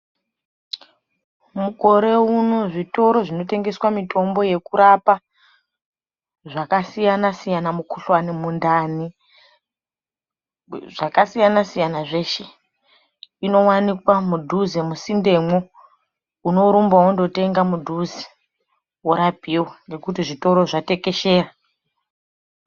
Mukore uno zvitoro zvinotengesa mitombo yekurapa zvakasiyana-siyana mikhuhlani mundani zvakasiyana-siyana zveshe inowanikwa mudhuze musindemwo unorumba wondotenga mudhuze worapiwa nekuti zvitoro zvatekeshera.